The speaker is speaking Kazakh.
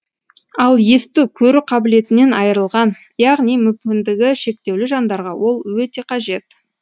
ал есту көру қабілетінен айырылған яғни мүмкіндігі шектеулі жандарға ол өте қажет